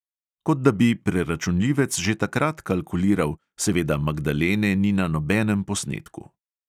Kot da bi preračunljivec že takrat kalkuliral, seveda magdalene ni na nobenem posnetku.